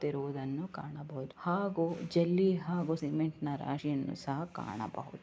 ಇರುವುದನ್ನು ಕಾಣಬಹುದು ಹಾಗೂ ಜಲ್ಲಿ ಹಾಗೂ ಸಿಮೆಂಟ್‌ನ್ನು ರಾಶಿಯನ್ನು ಸಹಾ ಕಾಣಬಹುದು.